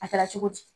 A kɛra cogo di